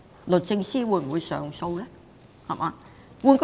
律政司會上訴嗎？